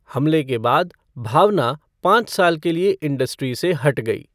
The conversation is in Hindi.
हमले के बाद भावना पाँच साल के लिए इंडस्ट्री से हट गई।